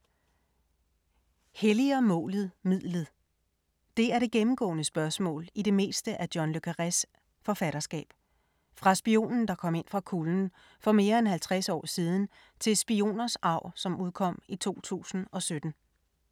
Helliger målet midlet? Det er det gennemgående spørgsmål i det meste af John le Carrés forfatterskab. Fra ”Spionen der kom ind fra kulden” for mere end halvtreds år siden til Spioners arv, som udkom i 2017.